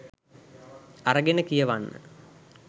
අරගෙන කියවන්න